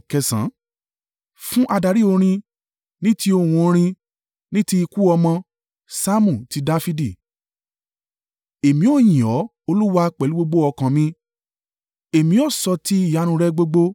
Fún adarí orin. Ní ti ohun orin. “Ní ti ikú ọmọ.” Saamu ti Dafidi. Èmi ó yìn ọ́, Olúwa, pẹ̀lú gbogbo ọkàn mi; èmi ó sọ ti ìyanu rẹ gbogbo.